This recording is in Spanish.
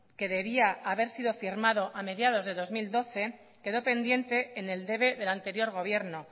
que debía haber sido firmado a mediados de dos mil doce quedó pendiente en el debe del anterior gobierno